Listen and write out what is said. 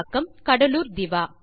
குரல் கொடுத்து பதிவு செய்தது